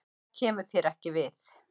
Það kemur þér ekki við.